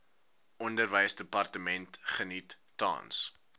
onderwysdepartement geniet tans